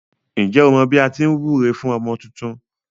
Ǹjẹ́ o mọ bí à á ti wúre fún ọmọ tuntun.